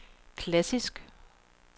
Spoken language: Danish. klassisk